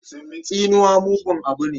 Tsinuwa mugun abu ne.